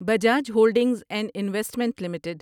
Bajaj holdings and investment limited